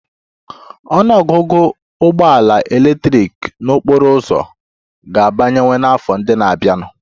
Ọnụ ọgụgụ ụgbọ ala eletrik n'okporo ụzọ ga-abawanye n'afọ ndị na-abịanụ